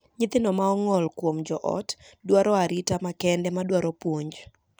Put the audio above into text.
Nyithindo ma ong'ol kuom joot dwaro arita makende ma dwaro puonj.